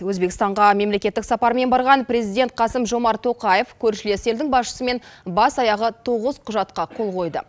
өзбекстанға мемлекеттік сапармен барған президент қасым жомарт тоқаев көршілес елдің басшысымен бас аяғы тоғыз құжатқа қол қойды